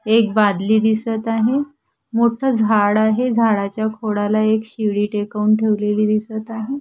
एक बादली दिसत आहे मोठं झाड आहे झाडाच्या खोडाला एक शिडी टेकवून ठेवलेली दिसत आहे.